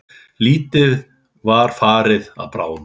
Lítið var farið að bráðna.